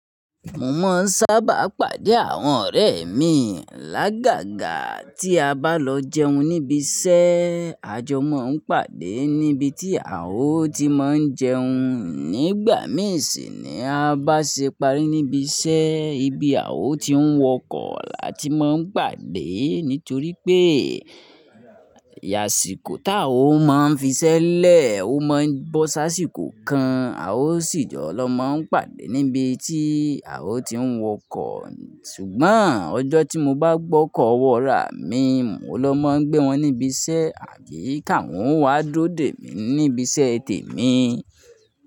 Mo máa ń sábà pàdé àwọn ọ̀rẹ́ mi lágàgà tí a bá lọ jẹun níbi iṣẹ́. A jọ máa ń pàdé níbi tí Aó ti mo ń jẹun. Nígbà mìí sì ni a bá ṣe ìparí níbi iṣẹ́, ibi Aó ti ń wọkọ̀ là tí mo ń pàdé. Nítorí pé, ìyàsíìkò tí Aó máa ń fi ṣẹ́lẹ̀, ó máa ń bọ́ sáṣìkò kan, Aó sì jọ lọ máa ń pàdé níbi tí Aó ti ń wọkọ̀. Ṣùgbọ́n ọjọ́ tí mo bá gbọ́kọ̀ wọ́raà mi, mo ló máa ń gbé wọn níbi iṣẹ́ àbí ká wọn wá dúró dè mí níbi iṣẹ́ tè mi.